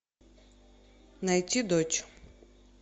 найти дочь